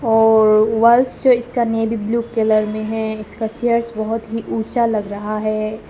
और वाल्स जो इसका नेवी ब्लू कलर में है इसका चेयर्स बहोत ही ऊंचा लग रहा है।